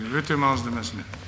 өте маңызды мәселе